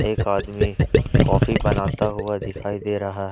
एक आदमी कॉफी बनाता हुआ दिखाई दे रहा--